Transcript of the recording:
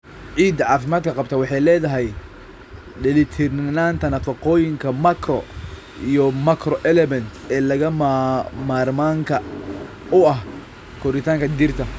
Ciidda caafimaadka qabta waxay leedahay dheellitirnaanta nafaqooyinka macro iyo microelements ee lagama maarmaanka u ah koritaanka dhirta.